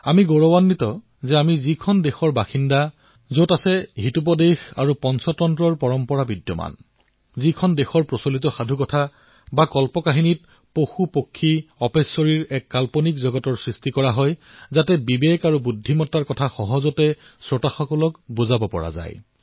আমি গৌৰৱান্বিত যে আমি সেই দেশৰ অধিবাসী যত হিতোপদেশ আৰু পঞ্চতন্ত্ৰৰ পৰম্পৰা আছে যত কাহিনীত পশুপক্ষী আৰু পৰীৰ কাল্পনিক বিশ্ব আছে যাতে বিবেক আৰু বুদ্ধিমত্তাৰ কথাসমূহ সহজে বুজি পাব পাৰি